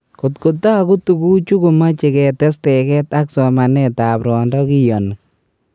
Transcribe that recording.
Kot ko tagu tuguchu komoche ketes teget ak somanetap rwondo kiyoni.